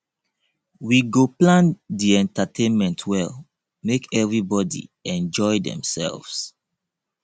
we go plan di entertainment well make everybodi enjoy demselves